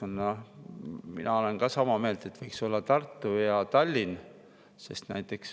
Mina olen sama meelt, et võiks olla Tartu ja Tallinn.